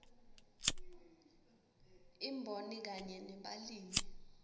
imboni kanye nebalimi